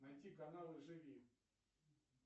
найти каналы живи